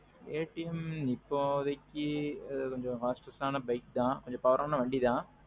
KTM இப்போதைக்கி கொஞ்சம் fastest ஆனா வண்டி தான் கோசம் power ஆன bike தான்.